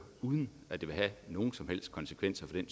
det uden at det vil have nogen som helst konsekvenser for